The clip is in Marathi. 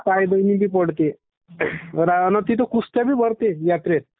काय दोनी बी पडते आना तीथा कुस्त्या भी भरते यात्रेत.